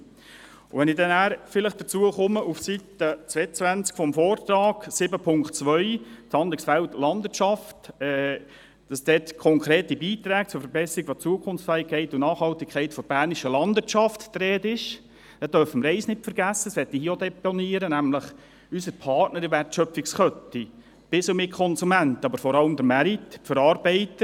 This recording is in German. Wenn ich dann nachher vielleicht dazu komme, dass im Kapitel 7.2 «Das Handlungsfeld Landwirtschaft» auf Seite 22 des Vortrags von konkreten Beiträgen zur Verbesserung der Zukunftsfähigkeit und Nachhaltigkeit der Bernischen Landwirtschaft die Rede ist, dann dürfen wir eines nicht vergessen – das möchte ich hier auch deponieren –, nämlich unsere Partner in der Wertschöpfungskette bis und mit Konsumenten, aber vor allem den Markt und die Verarbeiter.